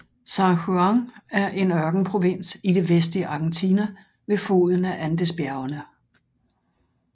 San Juan er en ørkenprovins i det vestlige Argentina ved foden af Andesbjergene